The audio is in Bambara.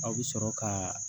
Aw bɛ sɔrɔ kaa